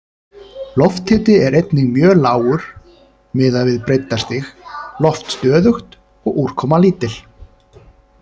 Lofthiti er einnig mjög lágur miðað við breiddarstig, loft stöðugt og úrkoma lítil.